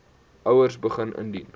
ouers begin indien